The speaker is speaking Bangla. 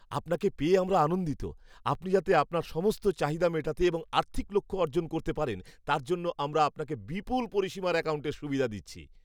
আপনাকে পেয়ে আমরা আনন্দিত। আপনি যাতে আপনার সমস্ত চাহিদা মেটাতে এবং আর্থিক লক্ষ্য অর্জন করতে পারেন, তার জন্য আমরা আপনাকে বিপুল পরিসীমার অ্যাকাউন্টের সুবিধা দিচ্ছি।